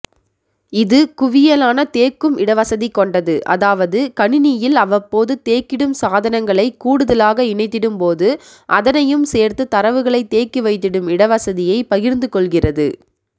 இதுகுவியலான தேக்கும்இடவசதிகொண்டது அதாவது கணினியில் அவ்வப்போது தேக்கிடும் சாதனங்களை கூடுதலாக இணைத்திடும்போது அதனையும் சேர்த்து தரவுகளை தேக்கிவைத்திடும் இடவசதியை பகிர்ந்துகொள்கின்றது